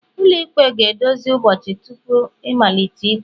ụlọikpe ga-edozi ụbọchị tupu ịmalite ikpe